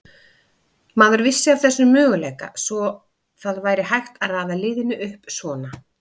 Maður vissi af þessum möguleika, að það væri hægt að raða liðinu upp svona.